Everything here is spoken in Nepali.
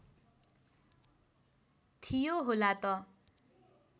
थियो होला त